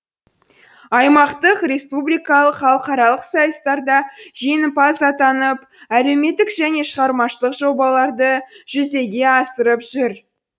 аймақтық республикалық халықаралық сайыстарда жеңімпаз атанып әлеуметтік және шығармашылық жобаларды жүзеге асырып жүр